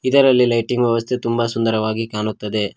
ಇದರಲ್ಲಿ ಲೈಟಿಂಗ್ ವ್ಯವಸ್ಥೆ ತುಂಬಾ ಸುಂದರವಾಗಿ ಕಾಣುತ್ತಿದೆ.